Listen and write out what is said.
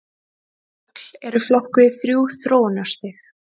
Högl eru flokkuð í þrjú þróunarstig.